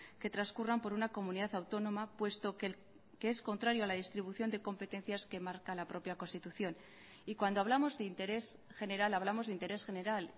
que transcurran por una comunidad autónoma puesto que es contrario a la distribución de competencias que marca la propia constitución y cuando hablamos de interés general hablamos de interés general